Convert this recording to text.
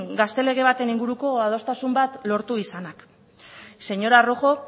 gazte lege baten inguruko adostasun bat lortu izanak señora rojo